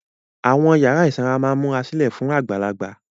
Àwọn yàrá ìsanra máa ń múra sílẹ̀ fún àgbàlagbà.